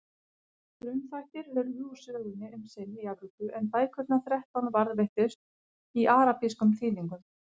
Frumþættir hurfu úr sögunni um sinn í Evrópu en bækurnar þrettán varðveittust í arabískum þýðingum.